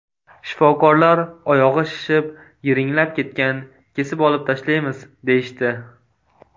Shifokorlar oyog‘i shishib, yiringlab ketgan, kesib olib tashlaymiz, deyishdi.